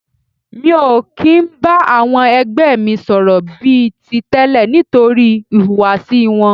Mi ò kì ń bá àwọn ẹgbẹ́ mi sọ̀rọ̀ bí i ti tẹ́lẹ̀ nítorí ìhùwàsí wọn.